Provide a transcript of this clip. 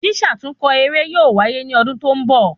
Sísàtúnkọ eré yóò waye ni ọdún tó ń bọ̀